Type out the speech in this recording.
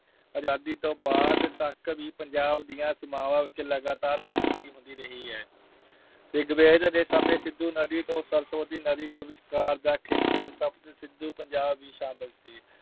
ਆਜਾਦੀ ਤੋਂ ਬਾਅਦ ਤੱਕ ਵੀ ਪੰਜਾਬ ਦੀਆਂ ਸੀਮਾਵਾਂ ਵਿੱਚ ਲਗਾਤਾਰ ਤਬਦੀਲੀ ਹੁੰਦੀ ਰਹੀ ਹੈ। ਰਿਗਵੇਦ ਦੇ ਸਮੇਂ ਸਿੰਧੂ ਨਦੀ ਤੋਂ ਸਰਸਵਤੀ ਨਦੀ ਦੇ ਵਿਚਕਾਰ ਦਾ ਖੇਤਰ ਸਪਤ ਸਿੰਧੂ ਪੰਜਾਬ ਵੀ ਸ਼ਾਮਲ ਸੀ।